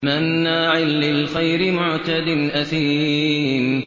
مَّنَّاعٍ لِّلْخَيْرِ مُعْتَدٍ أَثِيمٍ